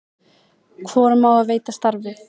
hvorum á að veita starfið